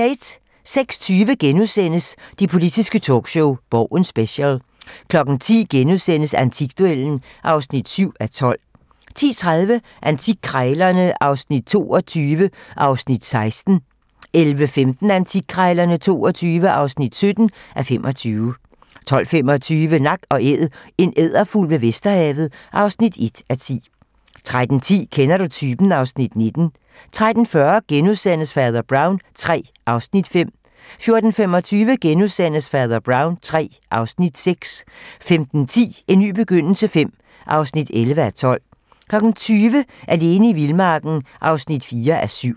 06:20: Det politiske talkshow - Borgen Special * 10:00: Antikduellen (7:12)* 10:30: Antikkrejlerne XXII (16:25) 11:15: Antikkrejlerne XXII (17:25) 12:25: Nak & Æd - en edderfugl ved Vadehavet (1:10) 13:10: Kender du typen? (Afs. 19) 13:40: Fader Brown III (Afs. 5)* 14:25: Fader Brown III (Afs. 6)* 15:10: En ny begyndelse V (11:12) 20:00: Alene i vildmarken (4:7)